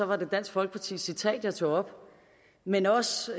var det dansk folkepartis citat jeg tog op men også